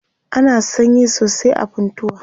ana sanyi sosai a funtua